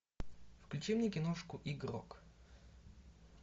включи мне киношку игрок